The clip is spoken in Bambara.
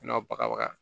N'a baga